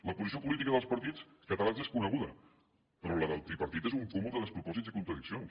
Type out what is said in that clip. la posició política dels partits catalans és coneguda però la del tripartit és un cúmul de despropòsits i contradiccions